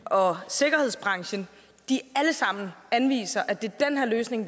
og sikkerhedsbranchen alle sammen anviser at det er den her løsning